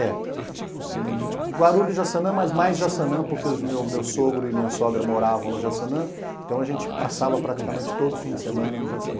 É. Guarulhos e Jaçanã, mas mais Jaçanã, porque o meu meu sogro e minha sogra moravam no Jaçanã, então a gente passava praticamente todo fim de semana no Jaçanã.